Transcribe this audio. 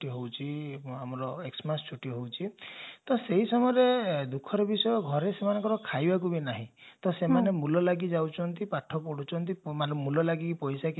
ହଉଛି ପୁଣି ଆମର X-mas ଛୁଟି ହଉଛି ତ ସେଇ ସମୟରେ ଦୁଃଖର ବିଷୟ ଘରେ ସେମାନଙ୍କର ଖାଇବାକୁ ବି ନାହିଁ ତ ସେମାନେ ମୂଲ ଲାଗି ଯାଉଛନ୍ତି ପାଠ ପାଢୁଛନ୍ତି ମୂଲ ଲାଗି ପୋଇସା କିଛି